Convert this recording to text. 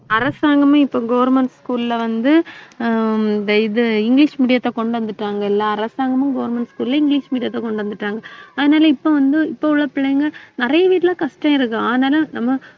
அரசாங்கமே இப்ப government school ல வந்து, ஆஹ் இந்த இது இங்கிலிஷ் medium த்தை கொண்டு வந்துட்டாங்க எல்லா அரசாங்கமும் government school ல இங்கிலிஷ் medium த்தை கொண்டு வந்துட்டாங்க அதனால இப்ப வந்து, இப்ப உள்ள பிள்ளைங்க நிறைய வீட்டுல கஷ்டம் இருக்கு ஆனாலும் நம்ம